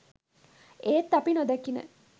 ඒත් අපි නොදකින